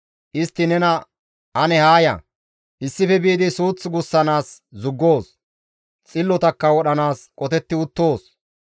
Istti nena, «Ane haa ya; issife biidi suuth gussanaas zuggoos; xillotakka wodhanaas qotetti uttoos.